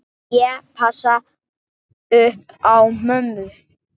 Ég passa upp á mömmu.